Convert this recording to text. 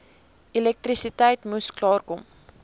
elektrisiteit moes klaarkom